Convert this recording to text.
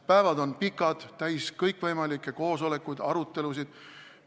Päevad on pikad, täis kõikvõimalikke koosolekuid ja arutelusid.